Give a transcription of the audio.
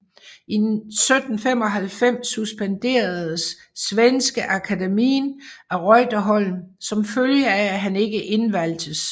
I 1795 suspenderedes Svenska Akademin af Reuterholm som følge af at han ikke indvalgtes